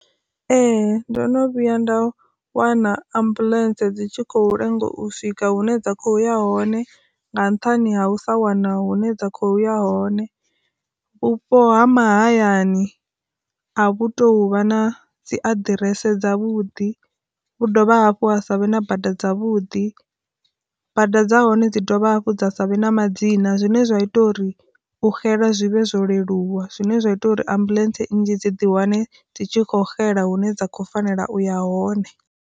Ee ndo no vhuya nda wana ambuḽentse dzi tshi khou lenga u swika hune dza khoya hone nga nṱhani ha u sa wana hune dza khoya hone vhupo ha mahayani a vhu to huvha na dzi aḓirese dza vhuḓi, vhu dovha hafhu ha savhe na bada dza vhudi, bada dza hone dzi dovha hafhu dza savhe na madzina, zwine zwa ita uri u xela zwivhe zwo leluwa zwine zwa ita uri ambuḽentse nnzhi dzi di wane dzi tshi kho xela hune dza kho fanela uya hone.